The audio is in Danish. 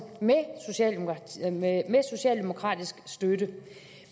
med socialdemokratisk støtte